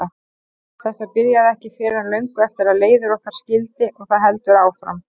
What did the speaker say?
Þetta byrjaði ekki fyrr en löngu eftir að leiðir okkar skildi og það heldur áfram.